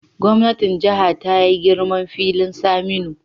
Gwamnatin Jiha ta yi girman filin Saminu